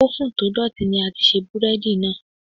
Ófùn to dọ̀tí ní a ti ṣe búrẹ́dì náà.